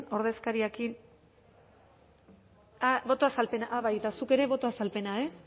ordezkariarekin ah boto azalpena ah bai eta zuk ere boto azalpena ez